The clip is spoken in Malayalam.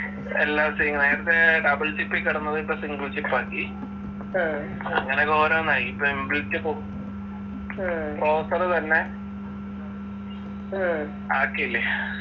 എല്ലാം same ആ നേരത്തെ double chip ൽ കിടന്നതിപ്പോ single chip ആക്കി അങ്ങനൊക്കെ ഓരോന്നായി ഇപ്പൊ in built form processor തന്നെ ആക്കിയില്ലേ